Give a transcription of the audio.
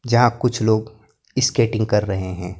जहां कुछ लोग स्केटिंग कर रहे हैं।